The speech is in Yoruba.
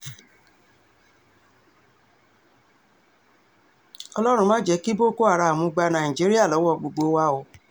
ọlọ́run ma jẹ́ kí boko haram gba nàìjíríà lọ́wọ́ gbogbo wa o